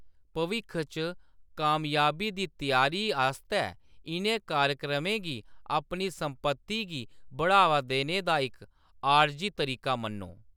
भविक्ख च कामयाबी दी त्यारी आस्तै इʼनें कार्यक्रमें गी अपनी संपत्ती गी बढ़ावा देने दा इक आरजी तरीका मन्नो।